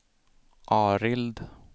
Arild